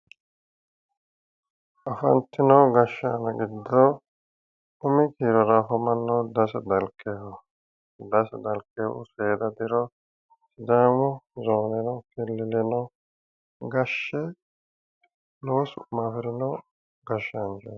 Afantino gashshaano giddo umi deerra ofollannohu Dase Dalkeho. Dase Dalkehu seeda diro sidaamu zooneno killileno gashshe lowo su'ma afirino gashshaanchooti.